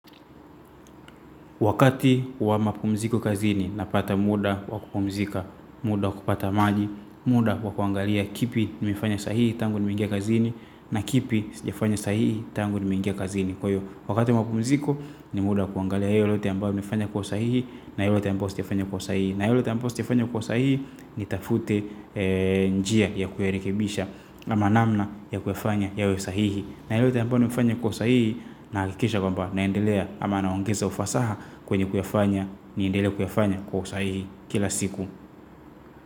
Wakati wa mapumziko kazini napata muda wa kupumzika, muda wa kupata maji, muda wa kuangalia kipi nimefanya sahihi tangu nimeingia kazini na kipi zijafanya sahihi tangu nimeingia kazini. Kwa hiyo, wakati wa mapumziko ni muda wa kuangalia yote ambao nimefanya kwa sahihi na yote ambao sijafanya kwa usahihi. Na yote ambao sijafanya kwa usahihi nitafute njia ya kuyarekebisha ama namna ya kuyafanya yawe sahihi. Na yote mbao nimefanya kwa usahihi na hakikisha kwamba naendelea ama naongeza ufasaha kwenye kuyafanya niendele kuyafanya kwa usahihi kila siku.